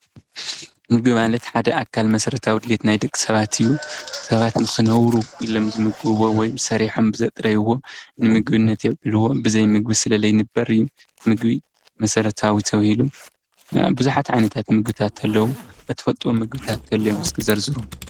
ምግቢ ማለት ሓደ አካል መሰረታዊ ድሌት ናይ ደቂ ሰባት እዩ። ሰባት ንክነብሩ ኢሎም ዝምገብዎ ወይ ሰሪሖም ብዘጥረይዎም ንምግብነት የውዕልዎም። ብዘይ ምግቢ ስለ ዘይንበር እዩ። ምግቢ መሰረታዊ ተባሂሉ ናይ ብዙሓት ዓይነታት ምግብታት አለው ። እትፈልጥዎም ምግብታት ንተሊኦም እስኪ ዘርዝሩ?